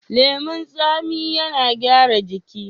Leman tsami yana gyara ciki.